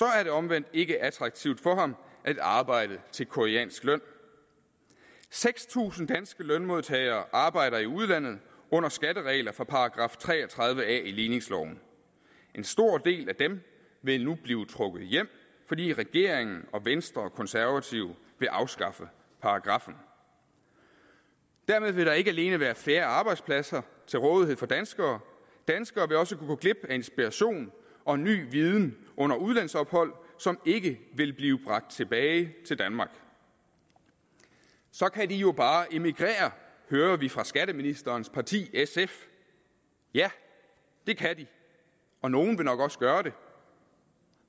er det omvendt ikke attraktivt for ham at arbejde til koreansk løn seks tusind danske lønmodtagere arbejder i udlandet under skatteregler fra § tre og tredive a i ligningsloven en stor del af dem vil nu blive trukket hjem fordi regeringen og venstre og konservative vil afskaffe paragraffen dermed vil der ikke alene være færre arbejdspladser til rådighed for danskere danskere vil også kunne gå glip af inspiration og ny viden under udlandsophold som ikke vil blive bragt tilbage til danmark så kan de jo bare emigrere hører vi fra skatteministerens parti sf ja det kan de og nogle vil nok også gøre det